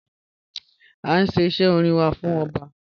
A nṣẹ̀ ìṣẹ̀ ọ̀rìn wà fún ọbá.